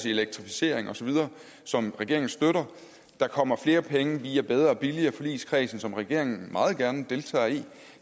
i elektrificering osv som regeringen støtter der kommer flere penge via bedre billigere forligskredsen som regeringen meget gerne deltager i